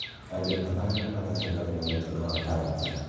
Andũ atano nĩmaratũnganĩre na mũtino wa barabara